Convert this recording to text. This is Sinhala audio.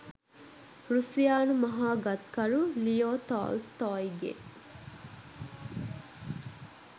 රුසියානු මහා ගත්කරු ලියෝ තෝල්ස්තෝයිගේ